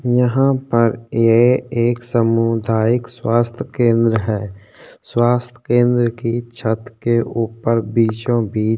यहां पर ये एक सामुदायिक स्वास्थ्य केंद्र है स्वास्थ केंद्र छत के ऊपर बीचों-बीच --